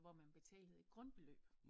Hvor man betalede et grundbeløb